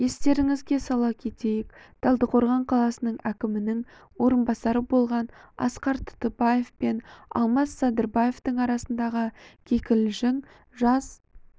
естеріңізге сала кетейік талдықорған қаласы әкімінің орынбасары болған асқар тұтыбаев пен алмасбек садырбаевтың арасындағы кикілжің жаз